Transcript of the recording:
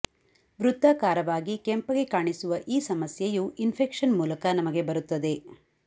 ವೃತ್ತಾಕಾರಕವಾಗಿ ಕೆಂಪಗೆ ಕಾಣಿಸುವ ಈ ಸಮಸ್ಯೆಯು ಇನ್ಫೆಕ್ಷನ್ ಮೂಲಕ ನಮಗೆ ಬರುತ್ತದೆ